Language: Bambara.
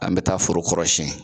An be taa foro kɔrɔ siɲɛ.